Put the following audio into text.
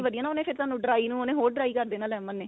ਵਧੀਆ ਨਾ ਉਨੇ ਫ਼ਿਰ ਤੁਹਾਨੂੰ dry ਨੂੰ ਉਨੇ ਹੋਰ dry ਕ਼ਰ ਦੇਣਾ lemon ਨੇ